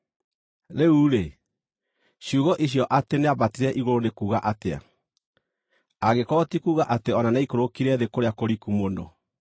(Rĩu-rĩ, ciugo icio atĩ “nĩambatire igũrũ” nĩ kuuga atĩa, angĩkorwo ti kuuga atĩ o na nĩaikũrũkire thĩ kũrĩa kũriku mũno?